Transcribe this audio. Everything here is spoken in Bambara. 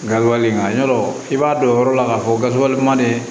Gawo wali nka yɔrɔ i b'a dɔn o yɔrɔ la k'a fɔ gawo man ne